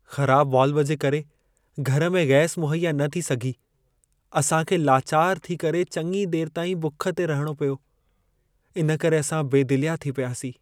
ख़राबु वाल्व जे करे घर में गैस मुहैया न थी सघी। असां खे लाचार थी करे चङी देर ताईं भुख ते रहणो पियो। इन करे असां बेदिलिया थी पियासीं।